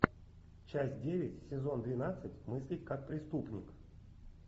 часть девять сезон двенадцать мыслить как преступник